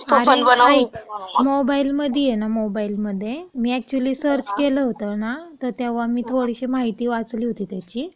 आणि ऐक, मोबाईलमध्येय ना मोबाईलमध्ये, मी अॅक्चुली सर्च केलं होतं ना, तर तेव्हा मी थोडीशी माहिती वाचली होती त्याची.